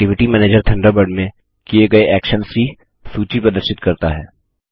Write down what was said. activity manager Thunderbird में किये गये एक्शन्स की सूची प्रदर्शित करता है